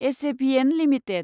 SJVN limited